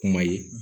Kuma ye